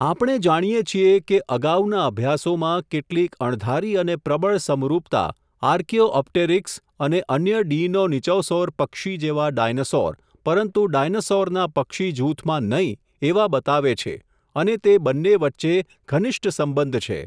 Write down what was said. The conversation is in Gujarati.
આપણે જાણીએ છીએ, કે અગાઉના અભ્યાસોમાં કેટલીક અણધારી અને પ્રબળ સમરુપતા આર્કિયોપ્ટેરિક્સ અને અન્ય ડીઈનોનીચોસૌર પક્ષી જેવા ડાયનાસોર પરંતુ ડાયનાસૉરના પક્ષી જૂથમાં નહીં, એવા બતાવે છે અને તે બન્ને વચ્ચે ઘનિષ્ઠ સંબંધ છે.